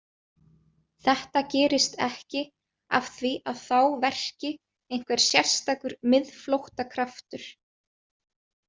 Þetta gerist ekki af því að þá verki einhver sérstakur miðflóttakraftur.